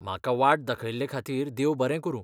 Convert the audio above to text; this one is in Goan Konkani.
म्हाका वाट दाखयल्ले खातीर देव बरें करूं.